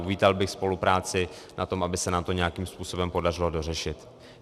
Uvítal bych spolupráci na tom, aby se nám to nějakým způsobem podařilo dořešit.